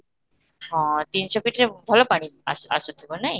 ହଁ, ତିନି ଶହ feet ରେ ଭଲ ପାଣି ଆସୁ ଆସୁ ଥିବ ନାଇ?